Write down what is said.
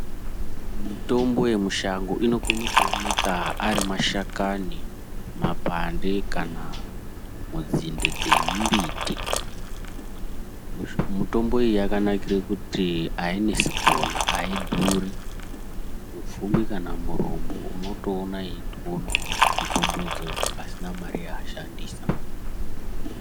Mitombo yemushango inokone kuoneka ari mashakani, mapande kana munzinde dzemumbiti. Mutombo iyi yakanakire kuti hainesi kuona, haidhuri. Mupfumi kana mutombo unotoona eitoonawo mitombo idzodzo pasina mare yaashandisa.